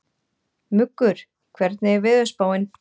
Muggur, hvernig er veðurspáin?